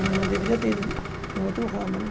Não não deveria ter ido num outro ramo, né?